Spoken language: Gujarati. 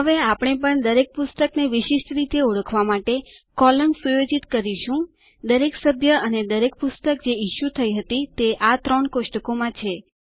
હવે આપણે પણ દરેક પુસ્તકને વિશિષ્ટ રીતે ઓળખવા માટે કૉલમ સુયોજિત કરીશું દરેક સભ્ય અને દરેક પુસ્તક જે ઇશ્યુ થઇ હતી તે આ ત્રણ કોષ્ટકો માં છે